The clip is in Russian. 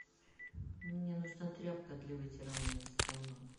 мне нужна тряпка для вытирания стола